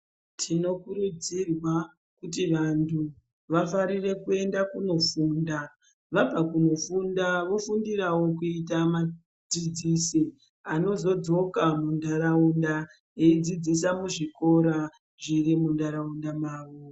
Tinokurudzirwa kuti vantu vafarire kuenda kunofunda vabva kunofunda vofundirawo kuita vadzidzisi anozodzoka munharaunda eidzidzisa muzvikora zvirimundaraunda mawo.